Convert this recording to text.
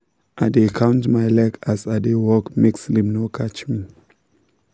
i dey count my leg as i dey work make sleep no catch me.